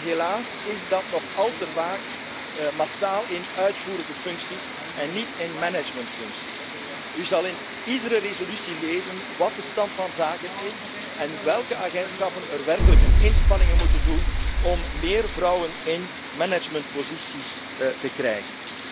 Helaas is dat nog al te vaak in uitvoerende functies en niet in managementfuncties. U zult in iedere resolutie lezen wat de stand van zaken is en welke agentschappen werkelijk een inspanning moeten doen om meer vrouwen in managementposities te krijgen.